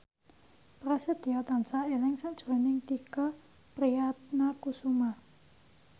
Prasetyo tansah eling sakjroning Tike Priatnakusuma